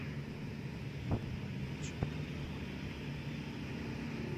юрия валерьевича погорелова